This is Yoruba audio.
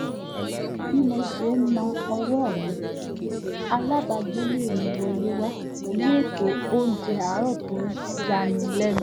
bí mo ṣe ń na ọwọ́ mi alábàágbélé mi wọlé wá pẹ̀lú ètò oúnjẹ àárọ̀ tó yani lẹ́nu